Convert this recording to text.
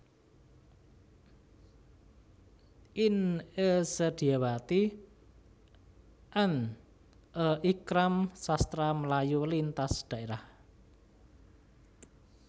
In E Sedyawati and A Ikram Sastra Melayu Lintas Daerah